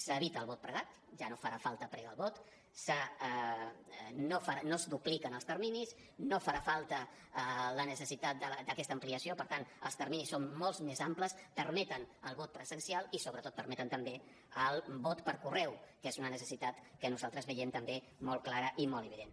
s’evita el vot pregat ja no farà falta pregar el vot no es dupliquen els terminis no farà falta la necessitat d’aquesta ampliació per tant els terminis són molt més amplis permeten el vot presencial i sobretot permeten també el vot per correu que és una necessitat que nosaltres veiem també molt clara i molt evident